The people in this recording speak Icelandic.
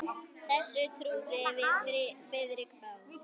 Þessu trúðum við Friðrik báðir.